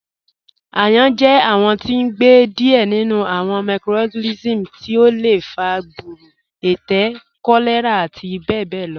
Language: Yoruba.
Ayán jẹ awọn tí n gbẹ díẹ̀ nínú awọn microorganisms tí ó lẹ fà gbúrù, ẹtẹ̀, kọ̀lẹ̀rà àti bẹbẹ̀ lọ